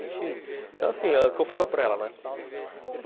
Então assim, o que eu falo para ela, né?